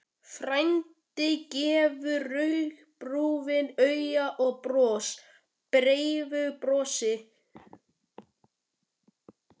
Frændi gefur rúgbrauðinu auga og brosir breiðu brosi.